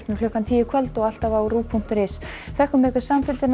klukkan tíu í kvöld og alltaf á ruv punktur is takk fyrir samfylgdina